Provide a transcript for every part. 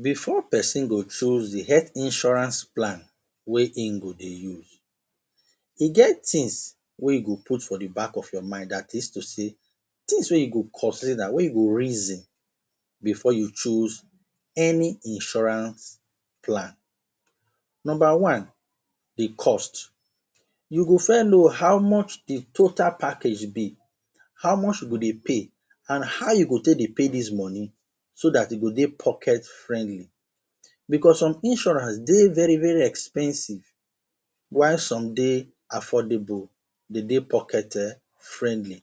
Before pesin go choose the health insurance plan wey im go dey use. E get things wey e go put for the back of your mind. Dat is to sey, things wey you go consider, wey you go reason before you choose any insurance plan. Number one, the cost. You go first know how much the total package be. How much you go dey pay? and how you go take dey pay dis money? So dat, e go dey pocket-friendly. Becos some insurance dey very very expensive while some dey affordable. De dey pocket friendly.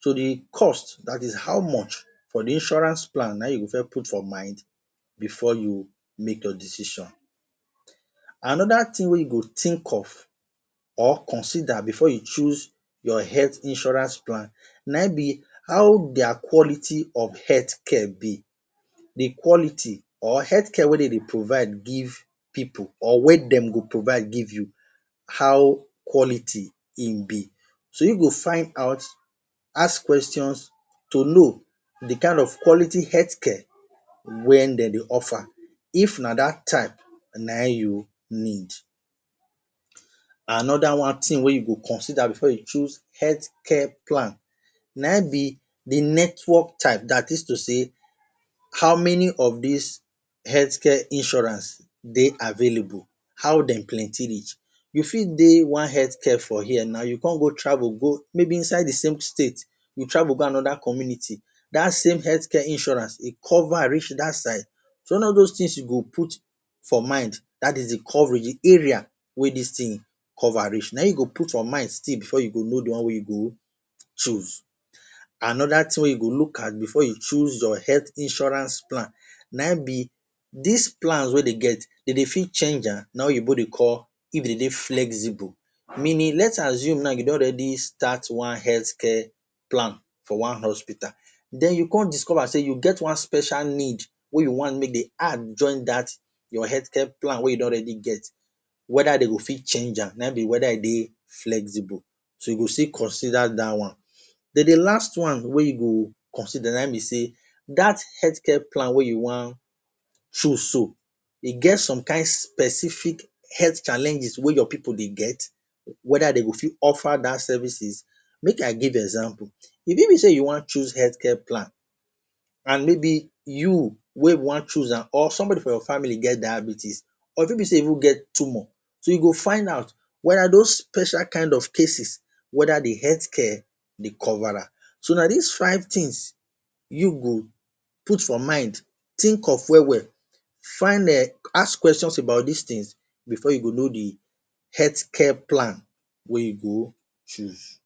So, the cost, dat is how much for the insurance plan na im you go first put for mind before you make your decision. Anoda thing wey you go think of or consider before you choose your health insurance plan, na im be how their quality of health care be. The quality or health care wey de dey provide give pipu or wey de go provide give you. How quality im be? So you go find out, ask questions to know the kind of quality health care wen de dey offer. If na dat type na im you need. Anoda one thing wey you will consider before you choose health care plan na im be the network type. Dat is to sey, how many of des health care insurance dey available? how de plenty reach? You fit dey one health care for here now, you con go travel go maybe inside the same state, you travel go anoda community. Dat same health care insurance go cover am reach dat side. So, na all dos things you go put for mind. Dat is the coverage, the area wey dis thing cover reach. Na im you go put for mind still before you go know the one wey you go choose. Anoda thing wey you go look at before you choose your health insurance plan, na im be, des plan wey de get, de dey fit change am? Na im Oyinbo dey call, If e dey dey flexible. Meaning, let's assume now, you don already start one health care plan for one hospital, den you con discover sey, you get one special need wey you wan make dem add join dat your health care plan wey you don already get. Whether they go fit change am. Na im be whether e dey flexible. So, you go still consider dat one. Den the last one wey you go consider, na im be sey, dat health care plan wey you wan choose so. E get some kind specific health challenges wey your pipu dey get? whether they go fit offer dat services? Make I give example. E fit be sey you wan choose health care plan and maybe you wey wan choose am, or somebody from your family get diabetes, or e fit be sey you no get tumor. So, you go find out whether dos special kind of cases, whether the health care dey cover am. So, na des five things you go put for mind, think of well well, find um, ask questions about des things before you go know the health care plan wey you go choose.